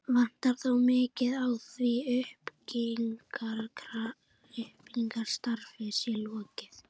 Vantar þó mikið á, að því uppbyggingarstarfi sé lokið.